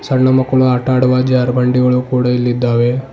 ಹೆಣ್ಣು ಮಕ್ಕಳು ಆಟ ಆಡುವ ಜಾರುಬಂಡಿಗಳು ಕೂಡ ಇಲ್ಲಿದ್ದಾವೆ.